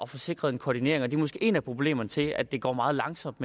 få sikret en koordinering og det er måske et af problemerne til at det går meget langsomt